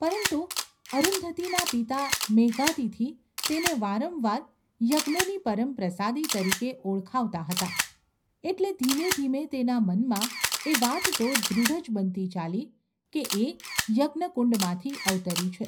પરંતુ અરુંધતીના પિતા મેઘાતિથિ તેને વારંવાર ‘યજ્ઞની પરમ પ્રસાદી’ તરીકે ઓળખાવતા હતા, એટલે ધીમે ધીમે તેના મનમાં એ વાત તો દૃઢ જ બનતી ચાલી કે એ યજ્ઞકુંડમાંથી અવતરી છે.